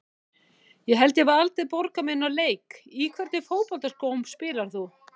Ég held ég hafi aldrei borgað mig inná leik Í hvernig fótboltaskóm spilar þú?